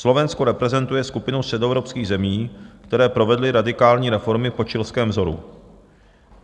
Slovensko reprezentuje skupinu středoevropských zemí, které provedly radikální reformy po chilském vzoru.